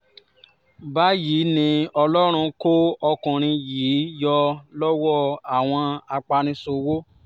báyìí ni ọlọ́run kó ọkùnrin yìí yọ lọ́wọ́ àwọn apaniṣòwò